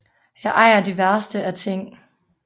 Jeg ejer de værste af ting